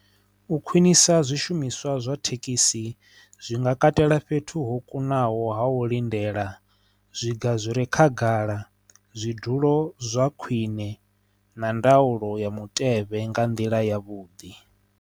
U khwinisa zwishumiswa zwa thekhisi zwi nga katela fhethu ho kunaho ha u lindela zwiga zwire khagala zwidulo zwa khwine na ndaulo ya mutevhe nga nḓila ya vhuḓi.